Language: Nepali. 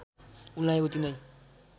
उनलाई उति नै